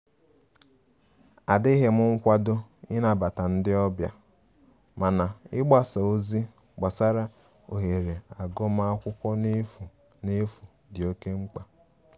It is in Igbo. Adighi m nkwado i nabata ndi ọbia, mana igbasa ozi gbasara ohere agụma akwụkwo n'efu n'efu di oke mkpa.